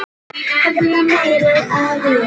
Komdu með mér Júlía.